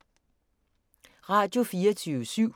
Radio24syv